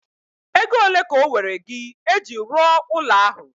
Ego ole ka owere gị eji rụọ ụlọ ahu?